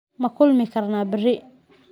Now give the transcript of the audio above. Ma kulmi karnaa berri?